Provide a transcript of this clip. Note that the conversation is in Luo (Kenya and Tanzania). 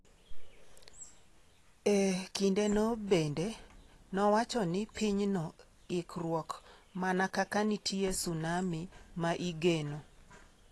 E kindeno bende, nowacho ni pinyno ikruok mana kaka nitie Sunami ma igeno.